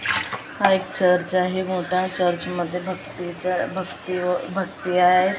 एक हा चर्च आहे मोठा चर्चमध्ये भक्तीच्या भक्ती व भक्ती आहे .